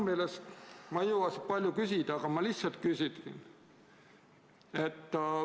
Ma ei jõua palju küsida, aga ma küsin lihtsalt seda.